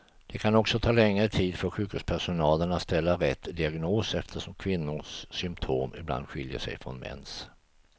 Det kan också ta längre tid för sjukhuspersonalen att ställa rätt diagnos, eftersom kvinnors symptom ibland skiljer sig från mäns.